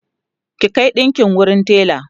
ki Kai ɗinƙin wurin tela!